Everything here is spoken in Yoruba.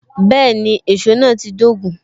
Bẹẹni, èsó náà ti dogun